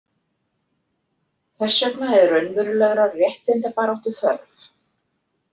Þess vegna er raunverulegrar réttindabaráttu þörf.